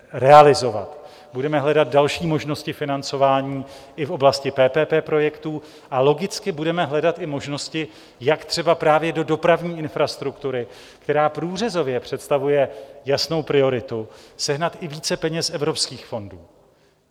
Budeme hledat další možnosti financování i v oblasti PPP projektů a logicky budeme hledat i možnosti, jak třeba právě do dopravní infrastruktury, která průřezově představuje jasnou prioritu, sehnat i více peněz z evropských fondů.